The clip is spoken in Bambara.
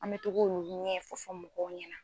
An bɛ to ko olu ɲɛ fɔ fɔ mɔgɔ ɲɛna.